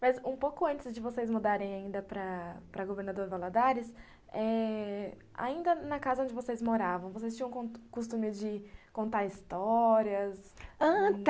Mas, um pouco antes de vocês mudarem ainda para para Governador Valadares, ainda na casa onde vocês moravam, vocês tinham o costume de contar histórias?